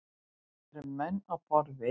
Það eru menn á borð við